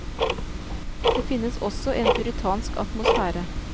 Det finnes også en puritansk atmosfære.